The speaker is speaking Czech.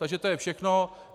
Takže to je všechno.